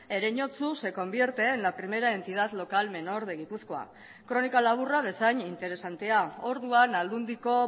ereñotzu se convierte en la primera entidad local menor de gipuzkoa kronika laburra bezain interesantea orduan aldundiko